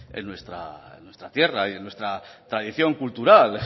en nuestra tierra y en nuestra tradición cultural